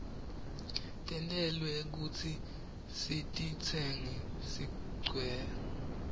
tentelwe kutsi sititsenge sigwke